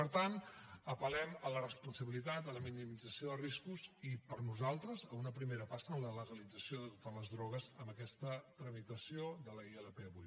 per tant apel·lem a la responsabilitat a la minimització de riscos i per nosaltres a una primera passa en la legalització de totes les drogues amb aquesta tramitació de la ilp d’avui